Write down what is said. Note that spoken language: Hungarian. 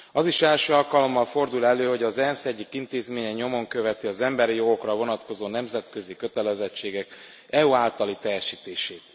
Az is első alkalommal fordul elő, hogy az ENSZ egyik intézménye nyomon követi az emberi jogokra vonatkozó nemzetközi kötelezettségek EU általi teljesítését.